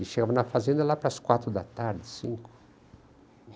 E chegava na fazenda lá para as quatro da tarde, cinco.